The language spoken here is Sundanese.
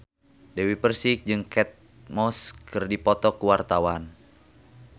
Dewi Persik jeung Kate Moss keur dipoto ku wartawan